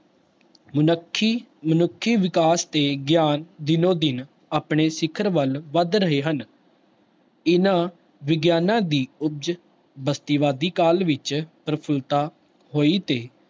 ਮਨੱਖੀ ਮਨੁੱਖੀ ਵਿਕਾਸ ਤੇ ਗਿਆਨ ਦਿਨੋ ਦਿਨ ਆਪਣੇ ਸਿੱਖਰ ਵੱਲ ਵੱਧ ਰਹੇ ਹਨ ਇਹਨਾਂ ਵਿਗਿਆਨਾਂ ਦੀ ਉਪਜ ਬਸਤੀਵਾਦੀ ਕਾਲ ਵਿੱਚ ਪ੍ਰਫੁਲਤਾ ਹੋਈ ਤੇ